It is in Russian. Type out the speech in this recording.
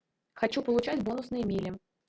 хочу получать бонусные мили